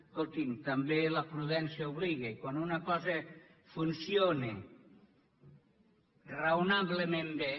escolti’m també la prudència obliga i quan una cosa funciona raonablement bé